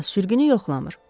Amma sürgünü yoxlamır.